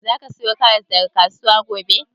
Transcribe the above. Za ka sayo karas daga kasuwa gobe?